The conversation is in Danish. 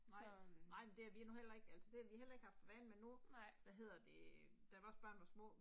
Nej, nej men det har vi nu heller ikke altså det har vi heller ikke haft for vane men nu, hvad hedder det, da vores børn var små